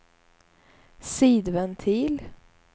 sidventil